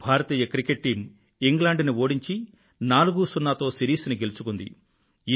భారతీయ cricket team England ని ఓడించి 40 తేడాతో సిరీస్ ని గెలుచుకుంది